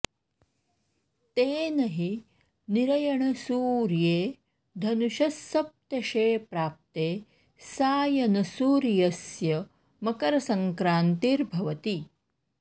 तेन हि निरयणसूर्ये धनुषः सप्तशे प्राप्ते सायनसूर्यस्य मकरसङ्क्रान्तिर्भवति